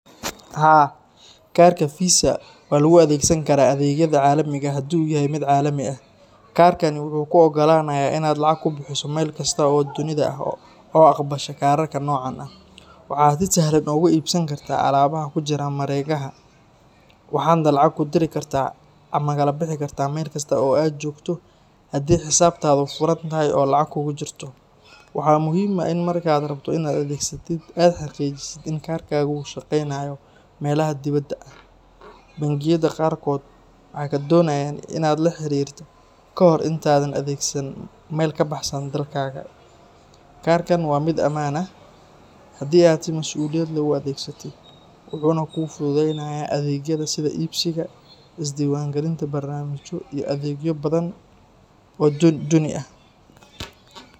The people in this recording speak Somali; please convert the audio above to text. Haa, kaarka Fiisa waa lagu adeegsan karaa adeegyada caalamiga ah haddii uu yahay mid caalami ah. Kaarkani wuxuu kuu oggolaanayaa inaad lacag ku bixiso meel kasta oo dunida ah oo aqbasha kaararka noocan ah. Waxaad si sahlan uga iibsan kartaa alaabaha ku jira mareegaha, waxaadna lacag ku diri kartaa ama kala bixi kartaa meel kasta oo aad joogto haddii xisaabtaadu furan tahay oo lacag kugu jirto. Waxaa muhiim ah in marka aad rabto inaad adeegsatid, aad xaqiijisid in kaarkaagu uu shaqeynayo meelaha dibadda ah. Bangiyada qaarkood waxay kaa doonayaan in aad la xiriirtid ka hor inta aadan adeegsanin meel ka baxsan dalkaaga. Kaarkan waa mid ammaan ah haddii aad si masuuliyad leh u adeegsatid, wuxuuna kuu fududeeyaa adeegyada sida iibsiga, isdiiwaangelinta barnaamijyo, iyo adeegyo badan oo dunida ah.